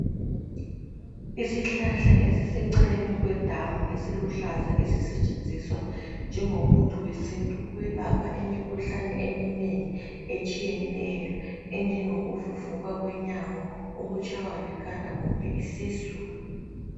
Isihlahla esiseceleni kwedamu esiluhlaza, esisetshenziswa njengomuthi wesintu ukwelapha imikhuhlane eminengi etshiyeneyo ebjengokuvuvuka kwenyawo ukutshaywa likhanda kumbe isisu.